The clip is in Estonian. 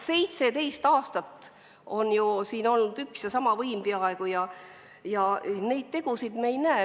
17 aastat oli peaaegu üks ja sama võim ja tegusid me ei näinud.